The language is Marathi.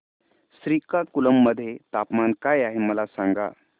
श्रीकाकुलम मध्ये तापमान काय आहे मला सांगा